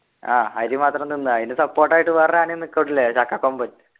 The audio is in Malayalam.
ആഹ് അരിമാത്രം തിന്ന അയിന് support ആയിട്ടു വേറൊരു ആനയും നിക്കുന്നുല്ലെ ചക്കകൊമ്പൻ